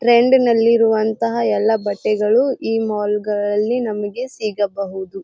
ಟ್ರೆಂಡ ಗಲ್ಲಲಿರುವಂತಹ ಎಲ್ಲ ಬಟ್ಟೆಗಳು ಈ ಮಾಲ್ ಗಲ್ಲಲ್ಲಿ ನಮಗೆ ಸಿಗಬಹುದು.